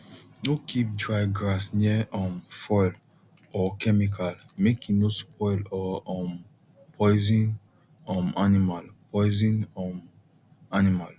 no keep dry grass near um fuel or chemical make e no spoil or um poison um animal poison um animal